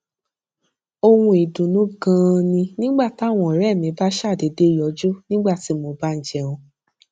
ohun ìdùnnú gan-an ni nígbà táwọn òré mi bá ṣàdédé yọjú nígbà tí mo bá ń jẹun